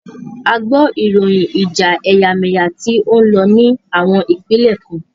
A gbọ ìròyìn ìjà ẹ̀yàmẹ́yà tí o ń lọ ní àwọn ìpínlẹ̀ kan.